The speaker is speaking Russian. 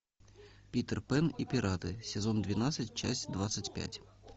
питер пен и пираты сезон двенадцать часть двадцать пять